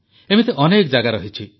ଏମିତି ଅନେକ ଜାଗା ରହିଛି